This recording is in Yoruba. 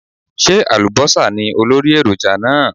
Ṣé àlùbọ́sà ní olórí èròjà náà?